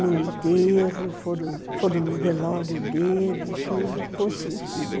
no enterro, foram no velório dele, tudo, consenti, né.